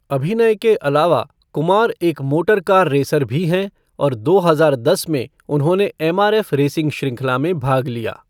अभिनय के अलावा, कुमार एक मोटर कार रेसर भी हैं और दो हजार दस में उन्होंने एमआरएफ़ रेसिंग श्रृंखला में भाग लिया।